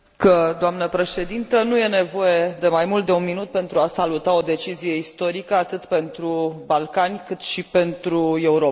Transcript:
Dnă președintă, nu este nevoie de mai mult de un minut pentru a saluta o decizie istorică atât pentru Balcani, cât și pentru Europa.